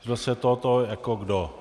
Zvrhlo se to o to, jako kdo?